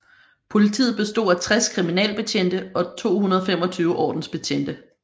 Politiet bestod af 60 kriminalbetjente og 225 ordensbetjente